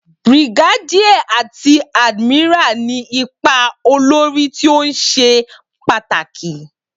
Brigadier àti admiral ní ipa olórí tó ṣe pàtàkì.